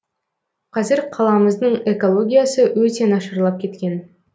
қазір қаламыздың экологиясы өте нашарлап кеткен